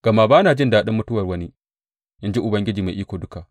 Gama ba na jin daɗin mutuwar wani, in ji Ubangiji Mai Iko Duka.